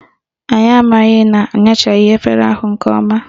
Anyị amaghị na anyachaghị efere ahụ nke ọma